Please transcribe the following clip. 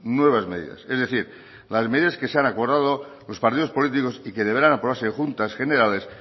nuevas medidas es decir las medidas que se han acordado los partidos políticos y que deberán aprobarse en juntas generales